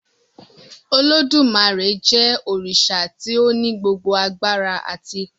Olodumare jé òrìṣà tí o ní gbogbo àgbàrá àti ipá